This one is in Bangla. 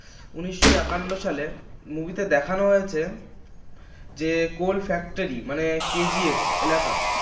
উনিশশো একান্ন সালের movie তে দেখানো হয়েছে যে coal factory মানে KGF এলাকা